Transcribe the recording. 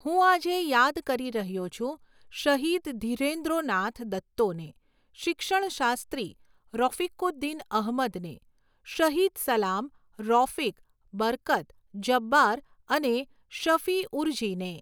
હું આજે યાદ કરી રહ્યો છું શહીદ ધીરેન્દ્રોનાથ દત્તોને, શિક્ષણશાસ્ત્રી રૉફિકુદ્દીન અહમદને, શહીદ સલામ, રોફિક, બરકત, જબ્બાર અને શફિઉરજીને.